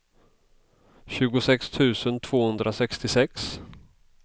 tjugosex tusen tvåhundrasextiosex